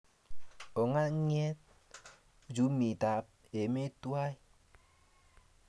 ongeng'et uchumitab emet tuwai